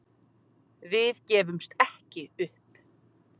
Við gefumst ekki upp